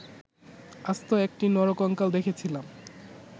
আস্ত একটি নরকঙ্কাল দেখেছিলাম